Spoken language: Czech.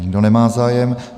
Nikdo nemá zájem.